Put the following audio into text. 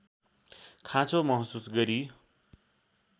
खाँचो महसुस गरी